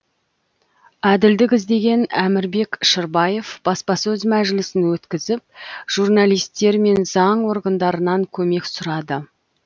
әділдік іздеген әмірбек шырбаев баспасөз мәжілісін өткізіп журналистер мен заң органдарынан көмек сұрады